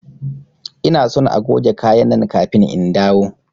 Ina son agoge kaya nan kafin in dawo!